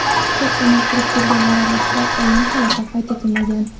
Chetdan yuqtirib kelganlar orasida o‘lim holati qayd etilmagan.